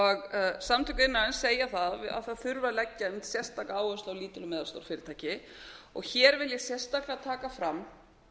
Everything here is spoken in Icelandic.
að fara samtök iðnaðarins segja að það þurfi að leggja einmitt sérstaka áherslu á lítil og meðalstór fyrirtæki og hér vil ég sérstaklega taka fram